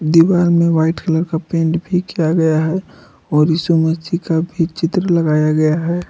दीवार में white colour का पेंट भी किया गया है और यीशु मसीह का भी चित्र लगाया गया है।